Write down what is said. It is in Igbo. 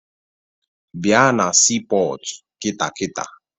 Bịa na siipọọtụ kịta kịta!